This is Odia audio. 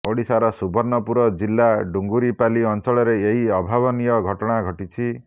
ଓଡ଼ିଶାର ସୁବର୍ଣ୍ଣପୁର ଜିଲ୍ଲା ଡୁଙ୍ଗୁରିପାଲି ଅଞ୍ଚଳରେ ଏହି ଅଭାବନୀୟ ଘଟଣା ଘଟିଛି